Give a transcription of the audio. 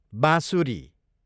बाँसुरी